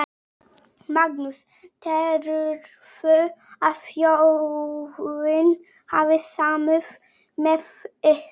Magnús: Telurðu að þjóðin hafi samúð með ykkur?